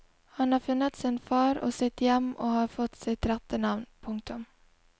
Han har funnet sin far og sitt hjem og har fått sitt rette navn. punktum